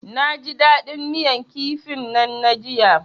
Naji dadin miyan kifin nan na jiya.